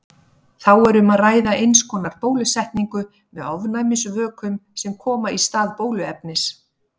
Þá er um að ræða eins konar bólusetningu með ofnæmisvökum sem koma í stað bóluefnis.